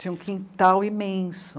Tinha um quintal imenso.